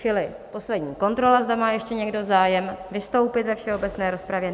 Čili poslední kontrola, zda má ještě někdo zájem vystoupit ve všeobecné rozpravě?